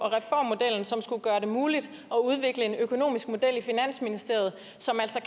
som skulle gøre det muligt at udvikle en økonomisk model i finansministeriet som altså